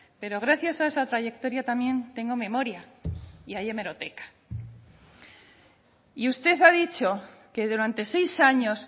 pero gracias a esa trayectoria también tengo memoria y hay hemeroteca y usted ha dicho que durante seis años